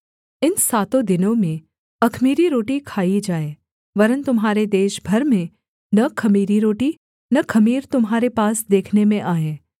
इन सातों दिनों में अख़मीरी रोटी खाई जाए वरन् तुम्हारे देश भर में न ख़मीरी रोटी न ख़मीर तुम्हारे पास देखने में आए